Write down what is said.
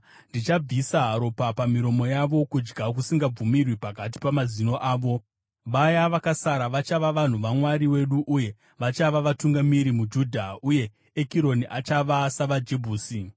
Ndichabvisa ropa pamiromo yavo, kudya kusingabvumirwi pakati pamazino avo. Vaya vakasara vachava vanhu vaMwari wedu uye vachava vatungamiri muJudha, uye Ekironi achava savaJebhusi.